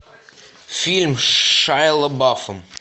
фильм с шайа лабафом